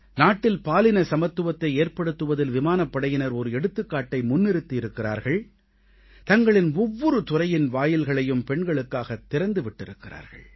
நாட்டில் பாலின சமத்துவத்தை ஏற்படுத்துவதில் விமானப்படையினர் ஒரு எடுத்துக்காட்டை முன்னிறுத்தி இருக்கிறார்கள் தங்களின் ஒவ்வொரு துறையின் வாயில்களையும் பெண்களுக்காக திறந்து விட்டிருக்கிறார்கள்